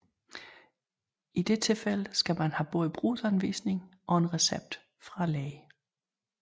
I dette tilfælde skal man have både brugsanvisning og recept fra lægen